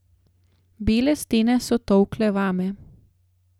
Bele stene so tolkle vame.